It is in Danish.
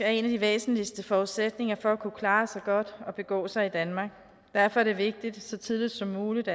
er en af de væsentligste forudsætninger for at kunne klare sig godt og begå sig i danmark derfor er det vigtigt at så tidligt som muligt